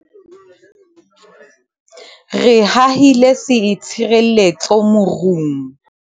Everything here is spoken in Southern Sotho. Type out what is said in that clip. Re hahile seitshireletso morung.